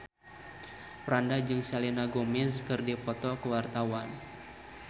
Franda jeung Selena Gomez keur dipoto ku wartawan